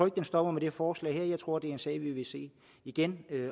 at den stopper med det forslag her jeg tror at en sag vi vil se igen